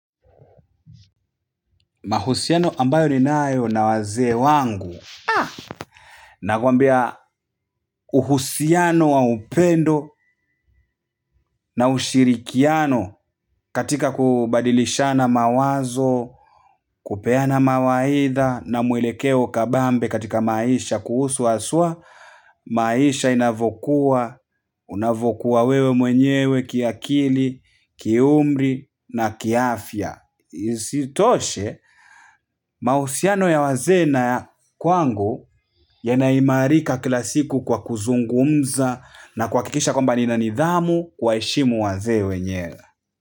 Mahusiano ambayo ninayo na wazee wangu na kwambia uhusiano wa upendo na ushirikiano katika kubadilishana mawazo, kupeana mawaidha na mwelekeo kabambe katika maisha kuhusu aswa maisha inavokuwa, unavokuwa wewe mwenyewe kiakili, kiumri na kiafya. Isitoshe mausiano ya wazee na ya kwangu yanaimarika kila siku kwa kuzungumza na kuakikisha kwamba nina nidhamu kuwaeshimu wazee wenyewe.